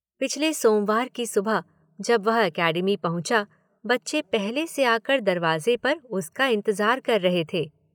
पिछले सोमवार की सुबह जब वह एकेडमी पहुंचा बच्चे पहले से आ कर दरवाजे पर उसका इंतजार कर रहे थे।